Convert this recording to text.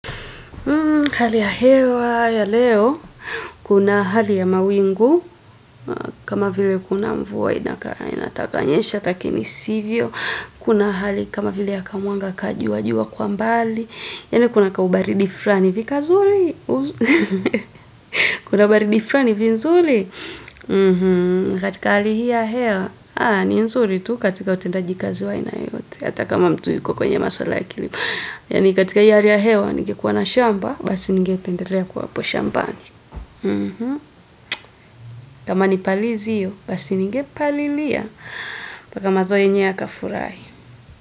Hali ya hewa ya leo, kuna hali ya mawingu, kama vile kuna mvua inakaa inataka nyesha lakini sivyo, kuna hali kama vile ya kamwanga ka jua jua kwa mbali, yaani kuna kaubaridi fulani hivi kazuri. Kuna baridi fulani hivi nzuri. Katika hali hii ya hewa, aaah, ni nzuri tu katika utendaji kazi wa aina yeyote, hata kama mtu yuko kwenye maswala ya kilimo. Yaani katika hii hali ya hewa, ningekuwa na shamba, basi ningependelea kuwa hapo shambani. Kama nipalizi hiyo, basi ningepalilia mpaka mazao yenyewe yakafurahi.